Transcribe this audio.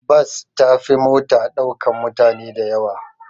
Bas ta fi mota ɗaukan mutane dayawa